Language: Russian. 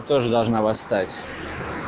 тоже должна восстать